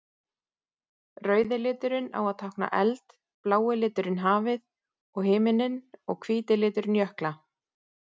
Rauði liturinn á að tákna eld, blái liturinn hafið og himininn og hvíti liturinn jökla.